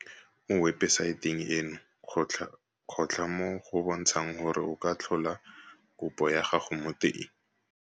Mo webesaeteng eno kgotla mo go bontshang gore o ka tlhola kopo ya gago mo teng.